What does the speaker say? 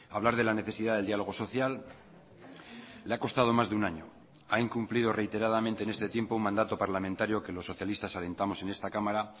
hablar de la necesidad del diálogo social le ha costado más de un año ha incumplido reiteradamente en este tiempo un mandato parlamentario que los socialistas alentamos en esta cámara